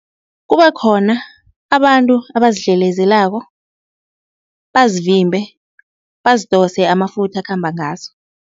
Kube khona abantu abazidlelezelako bazivimbe, bazidose amafutha akhamba ngazo.